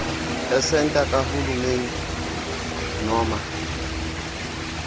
esenta kahulumeni noma